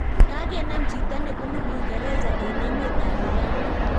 Kagenam chito nebunu uingereza eng emet ab iran